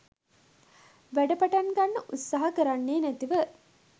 වැඩපටන් ගන්න උත්සාහ කරන්නේ නැතුව